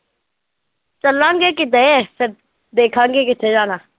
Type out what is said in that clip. ਚੱਲਾਂਗੇ ਕਿਤੇ ਫਿਰ ਦੇਖਾਂਗੇ ਕਿੱਥੇ ਜਾਣਾ।